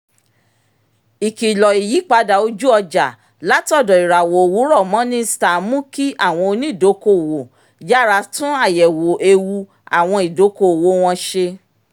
ikìlọ̀ ìyípadà ojú-ọjà látọ̀dọ̀ ìràwọ́ owurọ̀ morningstar mú kí àwọn onídokòòwò yára tún àyẹ̀wò ewu àwọn ìdókòòwò wọn ṣe